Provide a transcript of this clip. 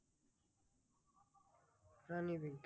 প্রাণী বিজ্ঞান